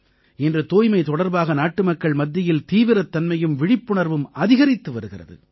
இன்று தூய்மை தொடர்பாக நாட்டுமக்கள் மத்தியில் தீவிரத்தன்மையும் விழிப்புணர்வும் அதிகரித்து வருகிறது